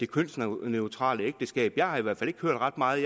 kønsneutrale ægteskab jeg har i hvert fald ikke hørt ret meget